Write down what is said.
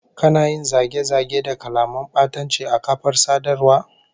Kana yin zage-zage da kalaman batanci a kafar sadarwa?